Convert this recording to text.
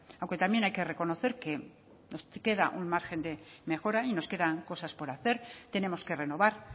aunque también hay que reconocer que nos queda un margen de mejora y nos quedan cosas por hacer tenemos que renovar